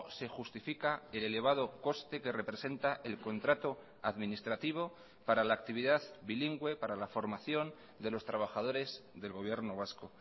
se justifica el elevado coste que representa el contrato administrativo para la actividad bilingüe para la formación de los trabajadores del gobierno vasco